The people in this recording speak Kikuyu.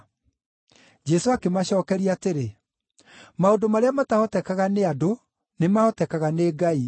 Jesũ akĩmacookeria atĩrĩ, “Maũndũ marĩa matahotekaga nĩ andũ nĩmahotekaga nĩ Ngai.”